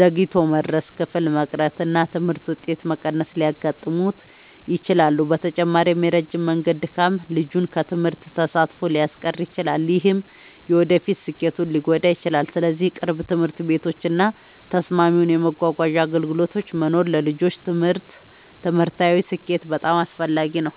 ዘግይቶ መድረስ፣ ክፍል መቅረት እና የትምህርት ውጤት መቀነስ ሊያጋጥሙት ይችላሉ። በተጨማሪም የረጅም መንገድ ድካም ልጁን ከትምህርት ተሳትፎ ሊያስቀር ይችላል፣ ይህም የወደፊት ስኬቱን ሊጎዳ ይችላል። ስለዚህ ቅርብ ትምህርት ቤቶች እና ተስማሚ የመጓጓዣ አገልግሎቶች መኖር ለልጆች ትምህርታዊ ስኬት በጣም አስፈላጊ ነው።